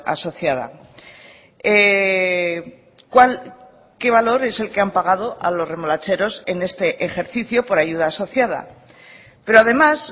asociada qué valor es el que han pagado a los remolacheros en este ejercicio por ayuda asociada pero además